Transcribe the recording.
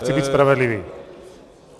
Chci být spravedlivý.